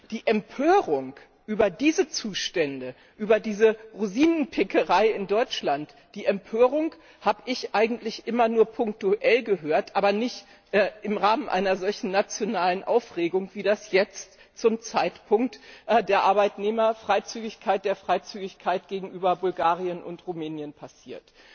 Die Empörung über diese Zustände, über diese Rosinenpickerei in Deutschland, habe ich eigentlich immer nur punktuell gehört, aber nicht im Rahmen einer solchen nationalen Aufregung, wie das jetzt zum Zeitpunkt der Arbeitnehmerfreizügigkeit, der Freizügigkeit gegenüber Bulgarien und Rumänien passiert.